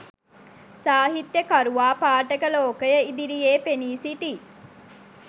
සාහිත්‍යකරුවා පාඨක ලෝකය ඉදිරියේ පෙනී සිටියි.